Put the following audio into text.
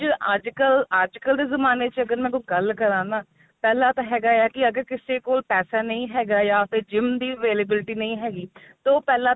ਅੱਜਕਲ ਅੱਜਕਲ ਦੇ ਜਮਾਨੇ ਦੀ ਕੋਈ ਗੱਲ ਕਰਾ ਨਾ ਹੈਗਾ ਆ ਕੀ ਅੱਜ ਕਿਸੇ ਕੋਲ ਪੈਸਾ ਨਹੀਂ ਹੈਗਾ ਆ gym ਦੀ availability ਨਹੀਂ ਹੈਗੀ ਤੇ ਉਹ ਪਹਿਲਾਂ